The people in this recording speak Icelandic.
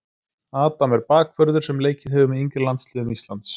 Adam er bakvörður sem leikið hefur með yngri landsliðum Íslands.